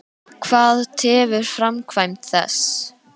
Hvað tefur framkvæmd þess?